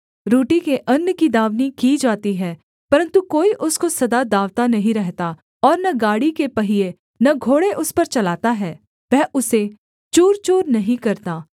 रोटी के अन्न की दाँवनी की जाती है परन्तु कोई उसको सदा दाँवता नहीं रहता और न गाड़ी के पहिये न घोड़े उस पर चलाता है वह उसे चूरचूर नहीं करता